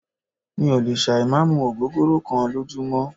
Mí ò lè ṣà ì má mú ògógóró kán lójúmọ́.